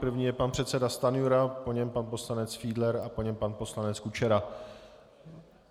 První je pan předseda Stanjura, po něm pan poslanec Fiedler a po něm pan poslanec Kučera.